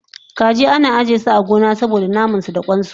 Kaji ana ajiyesu a gona saboda namansu da kwansu